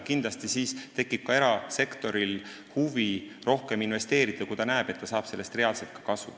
Kindlasti tekib erasektoril huvi rohkem investeerida, kui ta näeb, et ta saab sellest reaalselt kasu.